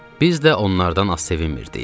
Biz də onlardan az sevinmirdik.